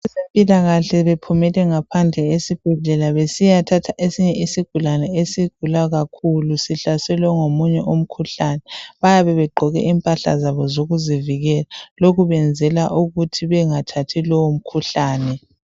Abezempilakahle bephumele ngaphandle esibhedlela besiyathatha esinye isigulane esigula kakhulu sihlaselwe ngomunye umkhuhlane. Bayabe begqoke impahla zabo zokuzivika lokhu benzela ukuthi bengathathi lowo mkhuhlane.